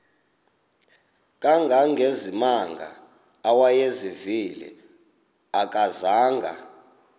kangangezimanga awayezivile akazanga